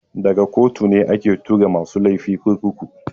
Daga kotu ne ake tura masu laifi kurkuku.